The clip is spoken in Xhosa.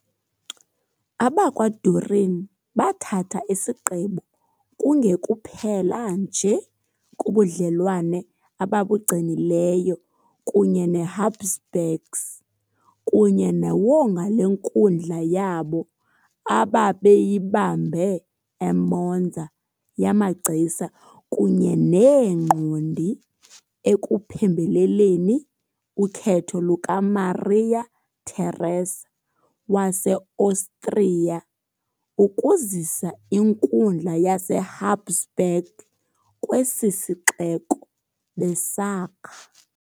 AbakwaDurini bathatha isigqibo kungekuphela nje kubudlelwane ababugcinileyo kunye neHabsburgs kunye newonga lenkundla yabo ababeyibambe eMonza yamagcisa kunye neengqondi ekuphembeleleni ukhetho lukaMaria Teresa waseOstriya ukuzisa inkundla yaseHabsburg kwesi sixeko, besakha.